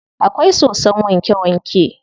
Akwai sosson wanke wanke.